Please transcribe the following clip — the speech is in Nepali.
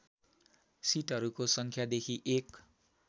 सिटहरूको सङ्ख्यादेखि एक